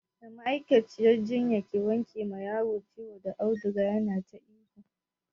Da ma'aikaciyar jinya ke wanke ma yaron ciwo da auduga yana ta ihu.